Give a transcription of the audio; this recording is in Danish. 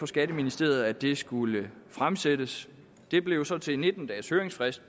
skatteministeriet at det skulle fremsættes det blev så til nitten dages høringsfrist